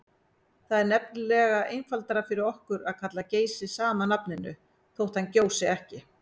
Það er nefnilega einfaldara fyrir okkur að kalla Geysi sama nafninu þótt hann gjósi ekki.